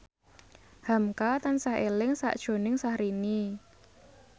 hamka tansah eling sakjroning Syahrini